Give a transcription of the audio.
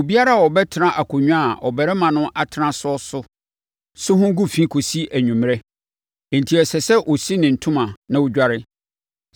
Obiara a ɔbɛtena akonnwa a ɔbarima no atena so so ho gu fi kɔsi anwummerɛ, enti ɛsɛ sɛ ɔsi ne ntoma na ɔdware.